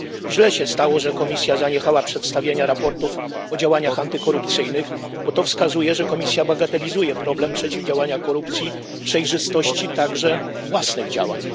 Źle się stało, że Komisja zaniechała przedstawiania raportów o działaniach antykorupcyjnych, bo to wskazuje, że Komisja bagatelizuje problem przeciwdziałania korupcji oraz kwestię przejrzystości własnych działań.